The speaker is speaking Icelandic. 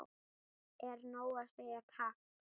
Er nóg að segja takk?